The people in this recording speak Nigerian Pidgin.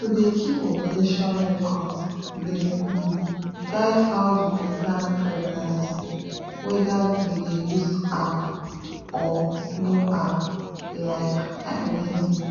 to dey keep ovulation records dey um guide how you go plan pregnancy whether you dey use app or no app like like i mean.